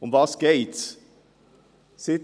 Worum geht es?